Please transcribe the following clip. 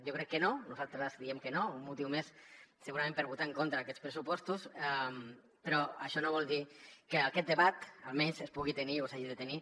jo crec que no nosaltres creiem que no un motiu més segurament per votar en contra d’aquests pressupostos però això no vol dir que aquest debat almenys es pugui tenir o s’hagi de tenir